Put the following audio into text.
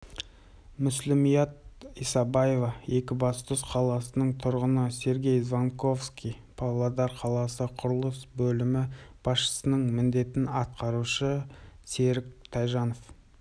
мүслімият исабаева екібастұз қаласының тұрғыны сергей звонковский павлодар қаласы құрылыс бөлімі басшысының міндетін атқарушы серік тайжанов